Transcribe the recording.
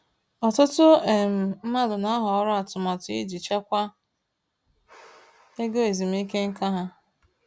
Ọtụtụ um mmadụ na-ahọrọ atụmatụ iji chekwaa ego ezumike nká ha.